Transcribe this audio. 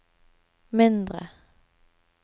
mindre